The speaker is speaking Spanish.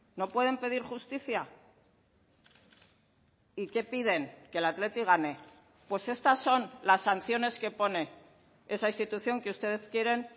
no pueden pedir justicia y qué piden que el athletic gane pues estas son las sanciones que pone esa institución que ustedes quieren